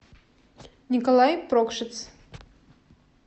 николай прокшиц